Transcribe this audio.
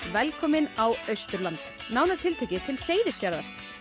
velkomin á Austurland nánar tiltekið til Seyðisfjarðar